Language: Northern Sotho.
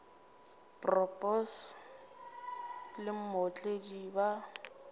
bro boss le mootledi ba